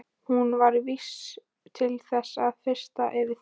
Hún var vís til þess að fyrtast yfir því.